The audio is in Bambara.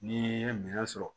N'i ye minɛn sɔrɔ